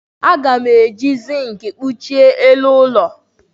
A na-eji zinki kpuchie elu ụlọ.